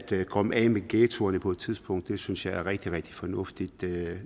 komme af med ghettoerne på et tidspunkt synes jeg er rigtig rigtig fornuftigt det